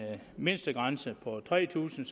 mindstegrænse på tre tusind